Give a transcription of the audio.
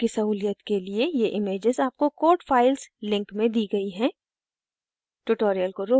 आपकी सहूलियत के लिए ये images आपको code files link में दी गयी हैं